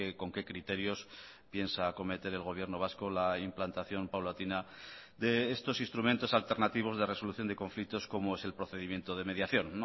con qué criterios piensa acometer el gobierno vasco la implantación paulatina de estos instrumentos alternativos de resolución de conflictos como es el procedimiento de mediación